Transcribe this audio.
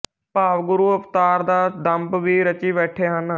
ਭਾਵ ਗੁਰੂ ਅਵਤਾਰ ਦਾ ਦੰਭ ਵੀ ਰਚੀ ਬੈਠੇ ਹਨ